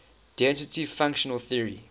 density functional theory